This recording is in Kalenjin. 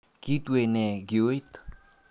Kitue nee kiooit.